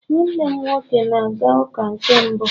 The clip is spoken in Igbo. nwannem nwoke na-aga uka na nke mbu